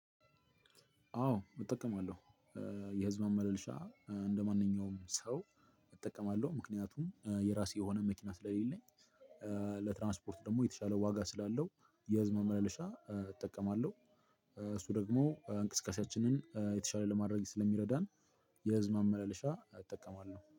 አዎ እጠቀማለሁ። የህዝብ ማመላለሻ እንደማንኛውም ሰው እጠቀማለሁ ምክንያቱም የራሴ የሆነ መኪና ስለሌለኝ። ለትራንስፖርት ደግሞ የተሻለ ዋጋ ስላለው የህዝብ ማመለሻ እጠቀማለሁ። እሱ ደግሞ እንቅስቃሴያችንን የተሻለ ለማድረግ ስለሚረዳን የህዝብ ማመላለሻ እጠቀማለሁ